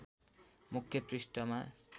मुख्य पृष्ठमा